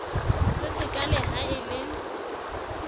se sekaale ha e le